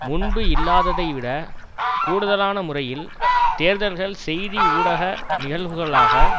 முன்பு இல்லாததைவிட கூடுதலான முறையில் தேர்தல்கள் செய்தி ஊடக நிகழ்வுகளாக